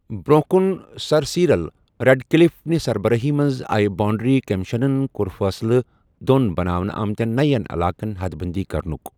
برۅنٛہہ کُن ، sir Cyril Radcliffe نہِ سربرٲہی منٛز آیہِ باؤنڈری کمیشنن کوٚر فٲصلہٕ دۅن بناونہٕ آمتٮ۪ن نَین علاقن حد بندی کرنُک۔